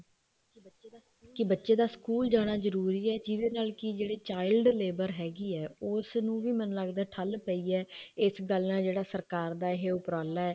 ਕੇ ਬੱਚੇ ਦਾ ਸਕੂਲ ਜਾਣਾ ਜਰੂਰੀ ਹੈ ਜਿਹੜੇ ਨਾਲ ਕੀ ਜਿਹੜੇ child ਲੇਬਰ ਹੈਗੀ ਹੈ ਉਹ ਉਸ ਨੂੰ ਮੈਨੂੰ ਲੱਗਦਾ ਠੱਲ ਪਈ ਹੈ ਇਸ ਗੱਲ ਨਾਲ ਸਰਕਾਰ ਜਾ ਜਿਹੜਾ ਉਪਰਾਲਾ ਹੈ